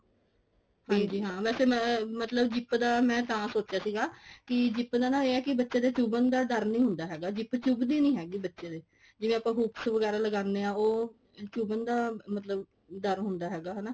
ਹਾਂਜੀ ਹਾਂ ਵੈਸੇ ਮੈਂ ਮਤਲਬ zip ਦਾ ਮੈਂ ਤਾਂ ਸੋਚਿਆ ਸੀਗਾ ਕਿ zip ਦਾ ਇਹ ਹੈ ਨਾ ਕਿ ਬੱਚੇ ਦੇ ਚੁੱਬਨ ਦਾ ਡਰ ਨਹੀਂ ਹੁੰਦਾ ਹੈਗਾ zip ਚੁੱਬਦੀ ਨਹੀਂ ਹੈਗੀ ਬੱਚੇ ਦੇ ਜਿਵੇਂ ਆਪਾਂ hooks ਵਗੈਰਾ ਲਗਾਂਦੇ ਆ ਉਹ ਚੁੱਬਨ ਦਾ ਮਤਲਬ ਡਰ ਹੁੰਦਾ ਹੈਗਾ ਹਨਾ